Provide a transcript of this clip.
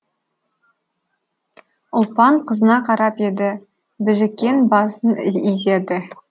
ұлпан қызына қарап еді біжікен басын изеді